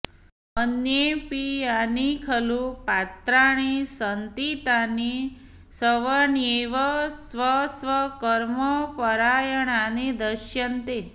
अन्येऽपि यानि खलु पात्राणि सन्ति तानि सवण्येव स्वस्वकर्मपरायणानि दृश्यन्ते